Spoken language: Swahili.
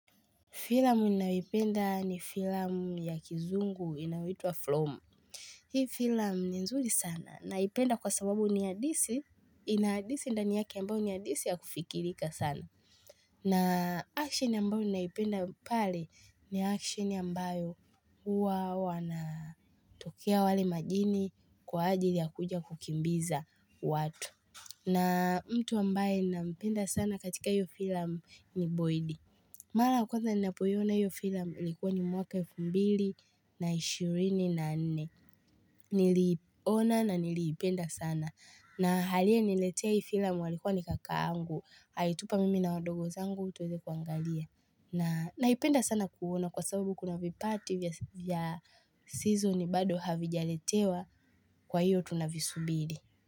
Filamu ninayoipenda ni filamu ya kizungu inayoitwa flom. Hii filamu ni nzuri sana naipenda kwa sababu ni hadisi. Inaadisi ndaniyake ambayo ni hadisi ya kufikirika sana. Na action ambayo ninaipenda pale ni action ambayo huwa wanatokea wale majini kwa ajili ya kuja kukimbiza watu. Na mtu ambaye ninampenda sana katika hiyo filamu ni boidi. Mala ya kwanza ni napoiona hiyo filam ilikuwa ni mwaka 2024 Niliona na niliipenda sana na aliye niletea hiyo filam alikuwa ni kaka angu alitupa mimi na wadogo zangu tuweze kuangalia na ipenda sana kuona kwa sababu kuna vipati vya season bado havijaletewa Kwa hiyo tunavisubili.